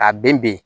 Ka bɛn ben